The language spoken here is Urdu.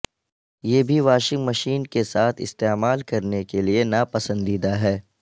یہ بھی واشنگ مشین کے ساتھ استعمال کرنے کے لئے ناپسندیدہ ہے